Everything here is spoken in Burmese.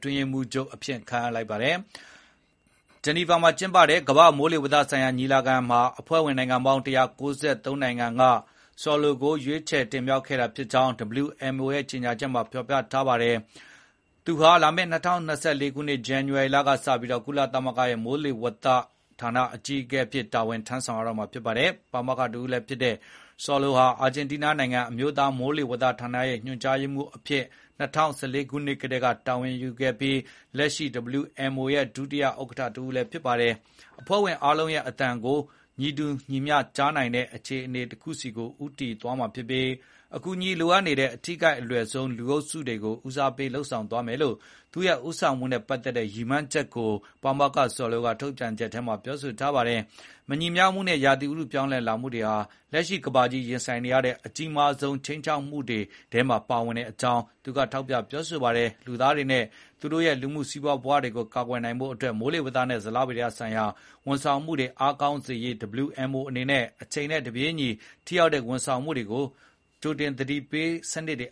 တွင်းရေးမှူးချုပ်အဖြစ် ခန့်အပ်လိုက်ပါတယ်။ ဂျီနီဗာမှာ ကျင်းပတဲ့ ကမ္ဘာ့မိုးလေဝသဆိုင်ရာ ကွန်ဂရက်မှာ အဖွဲ့ဝင် နိုင်ငံပေါင်း ၁၉၃ ဦးက Saulo ကို ရွေးချယ်တင်မြှောက်ခဲ့ကြောင်း WMO ရဲ့ ကြေညာချက်မှာ ဖော်ပြထားပြီး သူဟာ လာမယ့် ၂၀၂၄ ခုနှစ် ဇန်နဝါရီလက စပြီး ကုလသမဂ္ဂရဲ့ မိုးလေဝသဌာန အကြီးအကဲ အဖြစ် တာဝန်ထမ်းဆောင်တော့မှာ ဖြစ်ပါတယ်။ ပါမောက္ခ တဦးလည်းဖြစ်တဲ့ Saulo ဟာ အာဂျင်တီးနားနိုင်ငံ အမျိုးသားမိုးလေဝသဌာနရဲ့ ညွှန်ကြားရေးမှူးအဖြစ် ၂၀၁၄ ခုနှစ်ကတည်းက တာဝန်ယူခဲ့ပြီး လက်ရှိ WMO ရဲ့ ဒုတိယ ဥက္ကဋ္ဌ တဦး ဖြစ်ပါတယ်။ “ကျွန်မရဲ့ ရည်မှန်းချက်က အဖွဲ့ဝင်အားလုံးရဲ့ အသံကို ညီတူညီမျှကြားနိုင်တဲ့ အခြေအနေ တခုဆီ ဦးတည်ဖို့ဖြစ်ပြီး အကူအညီလိုအပ်နေတဲ့ ထိခိုက်လွယ်နိုင်ဆုံး လူအုပ်စုတွေကို ဦးစားပေးပြီး သူတို့တဦးချင်းစီရဲ့ လိုအပ်ချက်နဲ့ သီးခြားအချက်တွေနဲ့ လိုက်လျောညီထွေဖြစ်အောင် လုပ်ဆောင်သွားမယ်” လို့ ပါမောက္ခ Saulo က WMO ရဲ့ ထုတ်ပြန်ချက်ထဲမှာ ပြောထားပါတယ်။ “မညီမျှမှုနဲ့ ရာသီဥတုပြောင်းလဲမှုတွေဟာ လက်ရှိ ကမ္ဘာကြီး ရင်ဆိုင်နေရတဲ့ အကြီးမားဆုံး ခြိမ်းခြောက်မှုတွေထဲမှာ ပါဝင်ကြောင်း” လည်း သူက ထောက်ပြထားပါတယ်။ လူသားတွေနဲ့ သူတို့ရဲ့ လူမှု စီးပွား ဘဝတွေကို ကာကွယ်နိုင်ဖို့ အတွက် မိုးလေဝသနဲ့ ဇလဗေဒ ဆိုင်ရာ ဝန်ဆောင်မှုတွေ အားကောင်းစေရေး WMO အနေနဲ့ အချိန်နဲ့ တပြေးညီ ထိရောက်တဲ့ ဝန်ဆောင်မှုတွေ၊ ကြိုတင်သတိပေးစနစ်တွေ